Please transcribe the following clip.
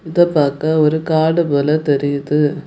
இத பாக்க ஒரு காடு போல தெரியுது.